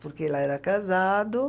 Porque lá era casado.